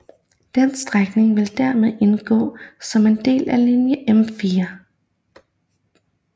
Denne strækning vil dermed indgå som en del af linje M4